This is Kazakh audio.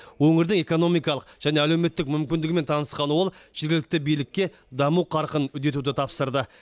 өңірдің экономикалық және әлеуметтік мүмкіндігімен танысқан ол жергілікті билікке даму қарқынын үдетуді тапсырды